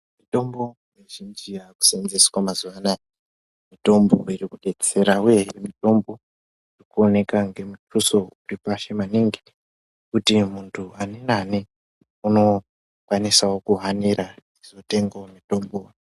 Mitombo mizhinji yakuseenzeswa mazuvanaya mitombo irikudetsera uye mutombo urikuoneka ngemutuso uripasi maningi kuti muntu ani nani anokwanisawo kuhanira achizotengawo mitombo.